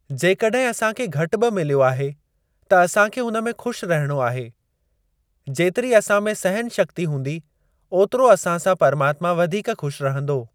जेकॾहिं असांखे घटि बि मिलियो आहे त असांखे हुन में खु़शि रहिणो आहे। जेतिरी असां में सहन शक्ती हूंदी ओतिरो असां सां परमात्मा वधीक खु़शि रहंदो।